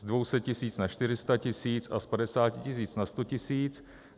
Z 200 tisíc na 400 tisíc a z 50 tisíc na 100 tisíc.